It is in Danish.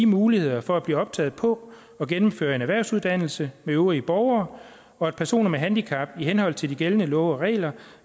muligheder for at blive optaget på og gennemføre en erhvervsuddannelse øvrige borgere og at personer med handicap i henhold til de gældende love og regler